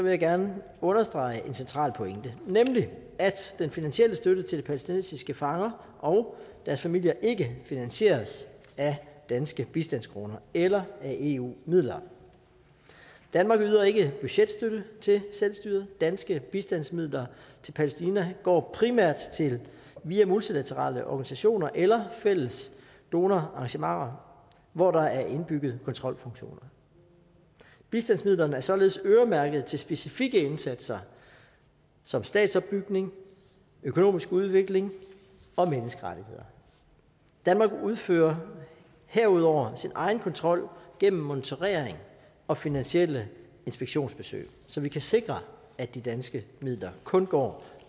jeg gerne understrege en central pointe nemlig at den finansielle støtte til de palæstinensiske fanger og deres familier ikke finansieres af danske bistandskroner eller af eu midler danmark yder ikke budgetstøtte til selvstyret danske bistandsmidler til palæstina går primært via multilaterale organisationer eller fælles donorarrangementer hvor der er indbygget kontrolfunktioner bistandsmidlerne er således øremærket til specifikke indsatser som statsopbygning økonomisk udvikling og menneskerettigheder danmark udfører herudover sin egen kontrol gennem monitorering og finansielle inspektionsbesøg så vi kan sikre at de danske midler kun går